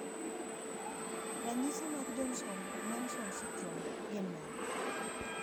Ranyisi mag Johnson Munson syndrome gin mage?